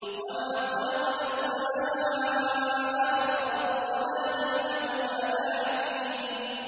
وَمَا خَلَقْنَا السَّمَاءَ وَالْأَرْضَ وَمَا بَيْنَهُمَا لَاعِبِينَ